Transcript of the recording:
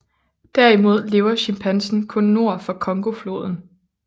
Derimod lever chimpansen kun nord for Congofloden